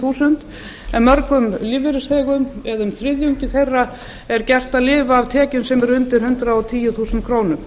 þúsund krónur á mánuði en mörgum lífeyrisþegum eða um þriðjungi þeirra er gert að lifa af tekjum sem eru undir hundrað og tíu þúsund krónur